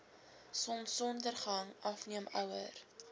sonsondergang afneem ouer